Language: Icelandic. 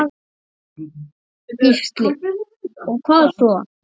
Gísli: Og hvað svo?